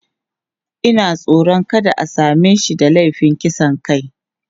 Ina tsoron kada a same shi da laifin kisan kai.